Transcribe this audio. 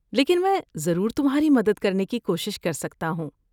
لیکن میں ضرور تمہاری مدد کرنے کی کوشش کر سکتا ہوں۔